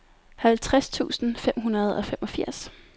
halvtreds tusind fem hundrede og femogfirs